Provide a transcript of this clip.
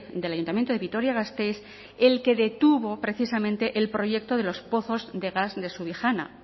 del ayuntamiento de vitoria gasteiz el que detuvo precisamente el proyecto de los pozos de gas de subijana